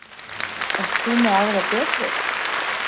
Ert þú með aðra betri?